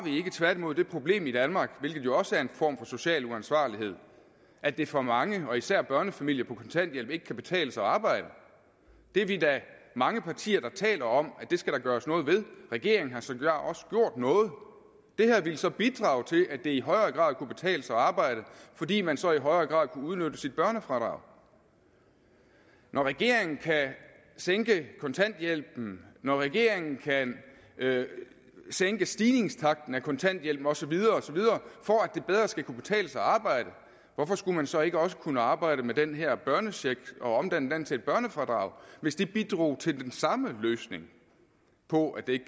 tværtimod det problem i danmark hvilket jo også er en form for social uansvarlighed at det for mange og især børnefamilier på kontanthjælp ikke kan betale sig at arbejde det er vi da mange partier der taler om at der skal gøres noget ved regeringen har sågar også gjort noget det her ville så bidrage til at det i højere grad kunne betale sig at arbejde fordi man så i højere grad kunne udnytte sit børnefradrag når regeringen kan sænke kontanthjælpen når regeringen kan sænke stigningstakten af kontanthjælpen og så videre osv for at det bedre skal kunne betale sig at arbejde hvorfor skulle man så ikke også kunne arbejde med den her børnecheck og omdanne den til et børnefradrag hvis det bidrog til den samme løsning på at det ikke